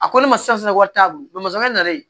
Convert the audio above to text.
A ko ne ma sisan wari t'a bolo n'ale